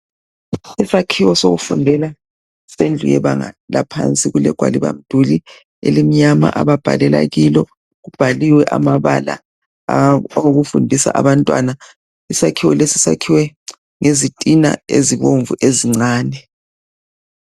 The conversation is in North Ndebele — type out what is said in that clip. Isakhiwo sokufundela sendlu yebanga laphansi kulegwaliba mduli elimnyama ababhalela kilo kubhaliwe amabala okufundisa abantwana isakhiwo lesi sakhiwe ngezitina ezibomvu ezincani